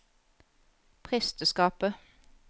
presteskapet